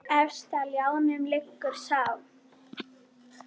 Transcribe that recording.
Efst á ljánum liggur sá.